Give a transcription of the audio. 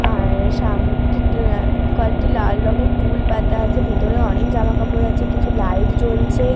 আর সাম একি উআ কয়েকটি লাল রঙের টুল পাতা আছে ভিতরে অনেক জামাকাপড় আছে কিছু লাইট জ্বলছে ।